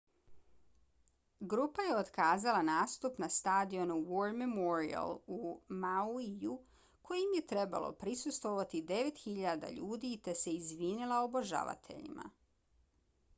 grupa je otkazala nastup na stadionu war memorial u mauiju kojem je trebalo prisustvovati 9.000 ljudi te se izvinila obožavateljima